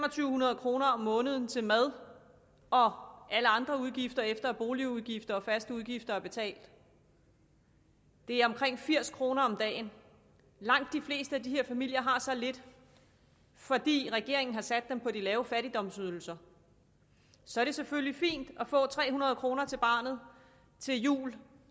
hundrede kroner om måneden til mad og alle andre udgifter efter at boligudgifter og faste udgifter er betalt det er omkring firs kroner om dagen langt de fleste af de her familier har så lidt fordi regeringen har sat dem på de lave fattigdomsydelser så er det selvfølgelig fint at få tre hundrede kroner til barnet til jul